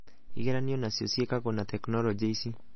igeranio onacio ciekagwo na tekinorojĩ ici.